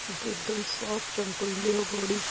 इ त एकदम साफ चमकाइले ह गाड़ी के।